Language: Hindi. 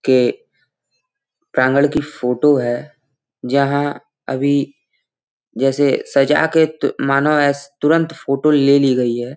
के प्रांगण की फोटो है जहां अभी जैसे सजाके त मानो एस तुरंत फोटो ले ली गई है।